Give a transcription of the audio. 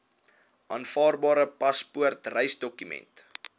aanvaarbare paspoort reisdokument